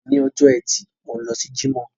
Òní ọjọ́ ẹtì, mò ń lọ sí Jímọ̀.